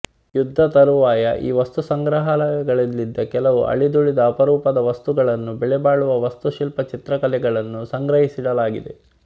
ಯುದ್ಧ ತರುವಾಯ ಈ ವಸ್ತುಸಂಗ್ರಹಾಲಯಗಳಲ್ಲಿದ್ದ ಕೆಲವು ಅಳಿದುಳಿದ ಅಪರೂಪವಾದ ವಸ್ತುಗಳನ್ನೂ ಬೆಲೆಬಾಳುವ ವಾಸ್ತುಶಿಲ್ಪ ಚಿತ್ರಕಲೆಗಳನ್ನೂ ಸಂಗ್ರಹಿಸಿಡಲಾಗಿದೆ